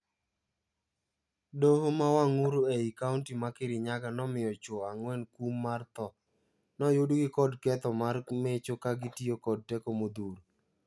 Doho ma Wang'uru ei Kaunti ma Kirinyaga nomiyo chwo angwen kum mar thoo. Noyudgi kod ketho mar mecho ka gitiyo kod teko modhuro.